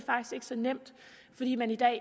så nemt fordi man i dag